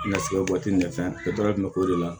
Nasiga waati nin fɛn bɛɛ bɛ k'o de la